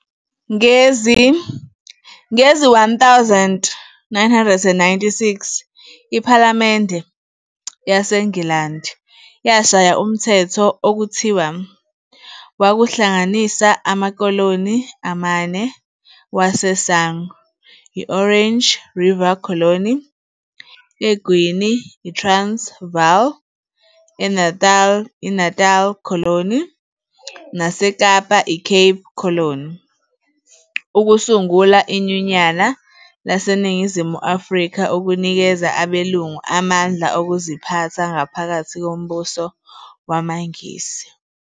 Ngezi-1996, iPhalamende yaseNgilandi yashaya umthetho okuthiwa wakuhlanganisa amakoloni amane waseSangqu, i-"Orange River Colony", eGwini, i-"Transvaal", eNatali, i-"Natal Colony", naseKapa, i-"Cape Colony", ukusungula iNyunyana laseNingizimu Afrika ukunikeza abelungu amandla okuziphatha ngaphakathi kombuso wamaNgisi.